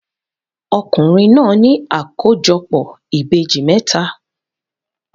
Ọkùnrin náà ní àkójọpọ̀ ìbejì mẹ́ta.